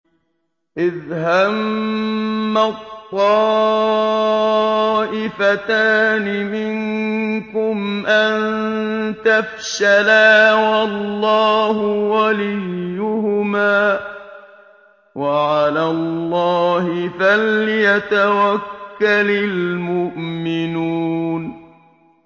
إِذْ هَمَّت طَّائِفَتَانِ مِنكُمْ أَن تَفْشَلَا وَاللَّهُ وَلِيُّهُمَا ۗ وَعَلَى اللَّهِ فَلْيَتَوَكَّلِ الْمُؤْمِنُونَ